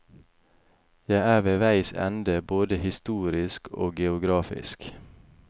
Jeg er ved veis ende både historisk og geografisk.